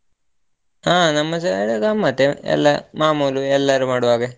ಹ ನಮ್ಮ side ಗಮ್ಮತ್ ಎಲ್ಲ ಮಾಮೂಲು ಎಲ್ಲರು ಮಾಡುವ ಹಾಗೆ.